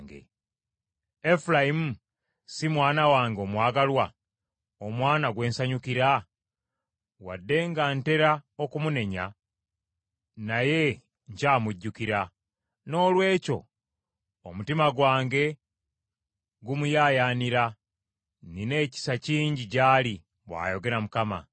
Efulayimu si mwana wange omwagalwa, omwana gwe nsanyukira? Wadde nga ntera okumunenya naye nkyamujjukira. Noolwekyo omutima gwange gumuyaayaanira; nnina ekisa kingi gy’ali,” bw’ayogera Mukama .